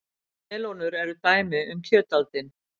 Melónur eru dæmi um kjötaldin.